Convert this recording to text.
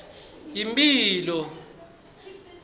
yimphilo